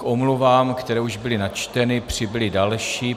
K omluvám, které už byly načteny, přibyly další.